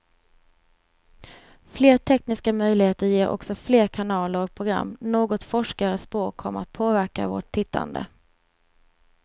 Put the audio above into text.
Fler tekniska möjligheter ger också fler kanaler och program, något forskare spår kommer att påverka vårt tittande.